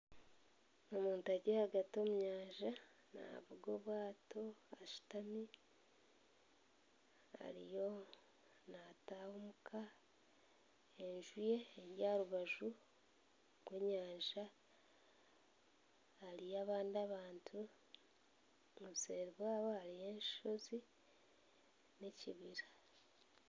Omuntu ari ahagati omu nyanja navuga obwaato ashuutami ariyo nataaha omuka, enju ye eri aharubaju rw'enyanja hariyo abandi abantu obuseeri bwaabo hariyo enshozi n'ekibira.